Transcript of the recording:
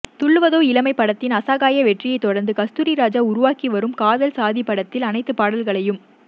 துள்ளுவதோ இளமை படத்தின் அசகாய வெற்றியைத் தொடர்ந்து கஸ்தூரி ராஜா உருவாக்கி வரும் காதல் சாதிபடத்தில் அனைத்துப் பாடல்களையும்